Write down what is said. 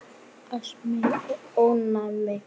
Astmi og ofnæmi